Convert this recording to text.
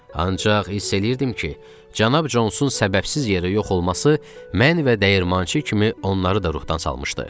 Ancaq hiss eləyirdim ki, cənab Consun səbəbsiz yerə yox olması mən və dəyirmançı kimi onları da ruhdan salmışdı.